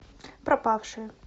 пропавшая